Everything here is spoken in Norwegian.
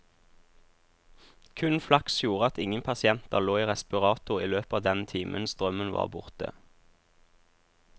Kun flaks gjorde at ingen pasienter lå i respirator i løpet av den timen strømmen var borte.